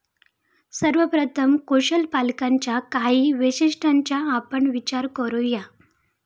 सर्वप्रथम, कुशल पालकांच्या काही वैशिष्ट्यांचा आपण विचार करू या.